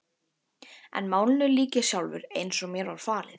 En málinu lýk ég sjálfur, eins og mér var falið.